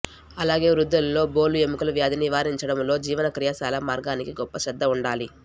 అలాగే వృద్ధులలో బోలు ఎముకల వ్యాధిని నివారించడము లో జీవన క్రియాశీల మార్గానికి గొప్ప శ్రద్ధ ఉండాలి